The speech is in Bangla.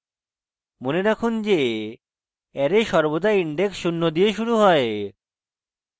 মনে রাখুন যে অ্যারে সর্বদা index শূন্য দিয়ে শুরু হয়